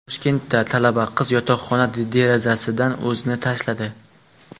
Toshkentda talaba qiz yotoqxona derazasidan o‘zini tashladi.